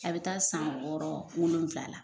A bɛ taa san wɔɔrɔ wolonwula la